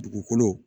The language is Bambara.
Dugukolo